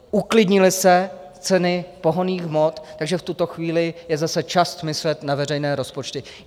Uklidnily se ceny pohonných hmot, takže v tuto chvíli je zase čas myslet na veřejné rozpočty.